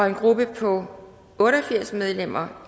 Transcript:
en gruppe på otte og firs medlemmer